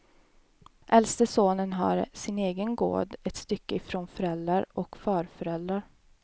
Äldste sonen har sin egen gård ett stycke ifrån föräldrar och farföräldrar.